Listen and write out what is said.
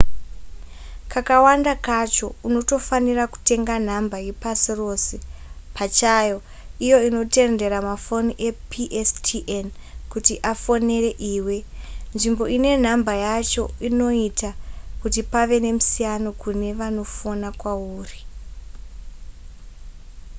kakawanda kacho unotofanira kutenga nhamba yepasi rose pachayo iyo inotendera mafoni epstn kuti afonere iwe nzvimbo ine nhamba yacho inoita kuti pave nemusiyano kune vanofona kwauri